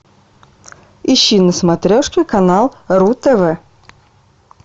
ищи на смотрешке канал ру тв